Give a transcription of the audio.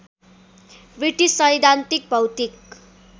British सैद्धान्तिक भौतिक